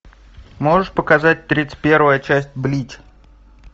можешь показать тридцать первая часть блич